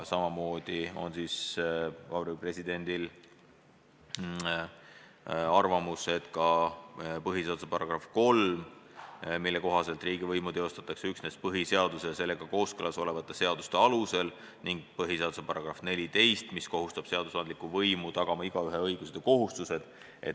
Samuti viitab Vabariigi President põhiseaduse §-le 3, mille kohaselt riigivõimu teostatakse üksnes põhiseaduse ja sellega kooskõlas olevate seaduste alusel, ning põhiseaduse §-le 14, mis kohustab ka seadusandlikku võimu tagama igaühe õigused ja vabadused.